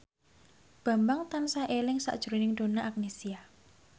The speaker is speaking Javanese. Bambang tansah eling sakjroning Donna Agnesia